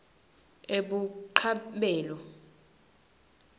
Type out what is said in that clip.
ebuchabelo